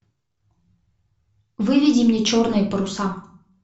выведи мне черные паруса